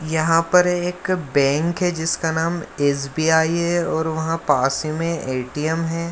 यहाँ पर एक बैंक है जिसका नाम एस.बी.आई. है और वहाँ पास ही में ए.टी.एम. है।